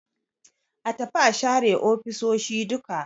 A tafi a share ofisoshi duka